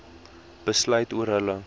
besluit oor hulle